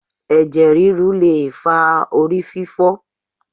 Ẹ̀jẹ̀ ríru le fa ori fífó̩